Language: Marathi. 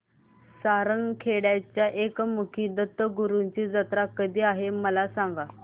सारंगखेड्याच्या एकमुखी दत्तगुरूंची जत्रा कधी आहे मला सांगा